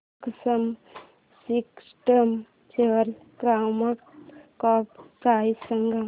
maxima Systems शेअरची market cap price सांगा